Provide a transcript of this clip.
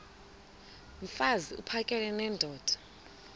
mfaz uphakele nendoda